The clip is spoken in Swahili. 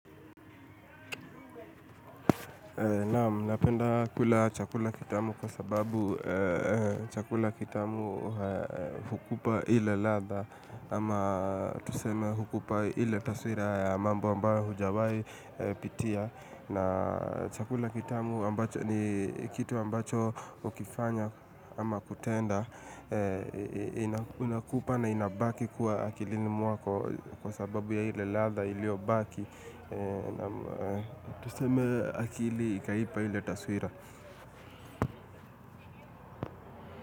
Naamu, napenda kula chakula kitamu kwa sababu chakula kitamu hukupa ile ladha ama tuseme hukupa ile taswira ya mambo ambayo hujawai pitia. Na chakula kitamu ni kitu ambacho ukifanya ama kutenda. Inakupa na inabaki kuwa akilini mwako kwa sababu ya ile ladha ilio baki. Na tuseme akili ikaipa ile taswira.